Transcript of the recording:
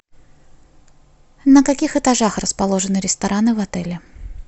на каких этажах расположены рестораны в отеле